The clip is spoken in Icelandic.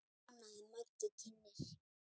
tónaði Maggi kynnir.